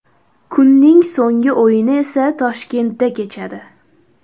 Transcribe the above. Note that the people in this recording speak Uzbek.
Kunning so‘nggi o‘yini esa Toshkentda kechadi.